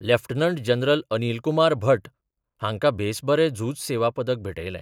Lieutenant general Anil Kumar Bhatt हांकां बेस बरें झूज सेवा पदक भेटयलें.